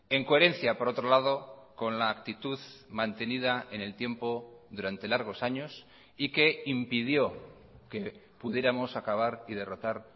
en coherencia por otro lado con la actitud mantenida en el tiempo durante largos años y que impidió que pudiéramos acabar y derrotar